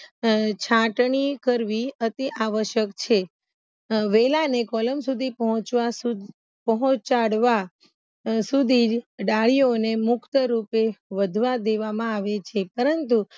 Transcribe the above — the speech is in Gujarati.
હ છાટણી કરવી અતિ આવશ્યક છે હ વેલાને કોલમ સુધી પહોચવા સુધ પહોચાડવા અ સુધી જ ડાળીઓને મુક્ત રૂપે વધવા દેવામાં આવે છે પરંતુ